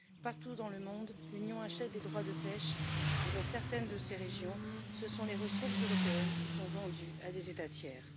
Partout dans le monde, l'Union achète des droits de pêche et dans certaines de ces régions, ce sont les ressources européennes qui sont vendues à des États tiers.